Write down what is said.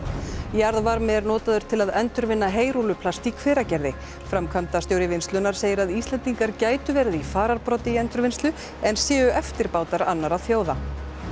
jarðvarmi er notaður til að endurvinna heyrúlluplast í Hveragerði framkvæmdastjóri vinnslunnar segir að Íslendingar gætu verið í fararbroddi í endurvinnslu en séu eftirbátar annarra þjóða